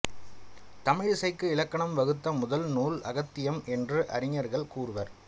தமிழ் இசைக்கு இலக்கணம் வகுத்த முதல் நூல் அகத்தியம் என்று அறிஞர்கள் கூறுவர்